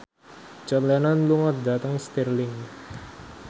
John Lennon lunga dhateng Stirling